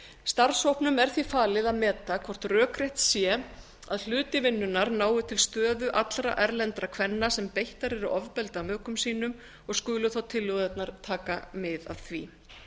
starfshópnum er því falið að meta hvort rökrétt sé að hluti vinnunnar nái til stöðu allra erlendra kvenna sem beittar eru ofbeldi af mökum sínum og skulu þá tillögurnar taka mið af því